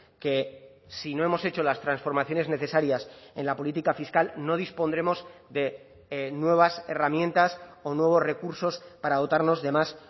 que si no hemos hecho las transformaciones necesarias en la política fiscal no dispondremos de nuevas herramientas o nuevos recursos para dotarnos de más